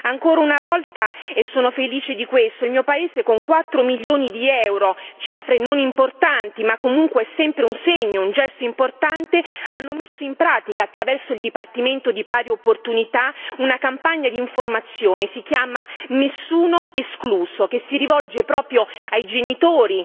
Ancora una volta sono felice di questo il mio paese con 4 milioni di euro cifra non importante ma comunque è sempre un segno, un gesto importante ha messo in pratica, attraverso il dipartimento di pari opportunità, una campagna d'informazione che si chiama Nessuno escluso che si rivolge proprio ai genitori